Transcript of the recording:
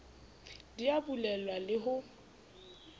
di a bulelwa le ho